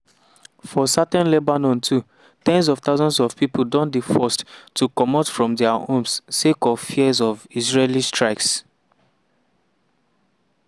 for southern lebanon too ten s of thousands of pipo don dey forced to comot from dia homes sake of fears of israeli strikes.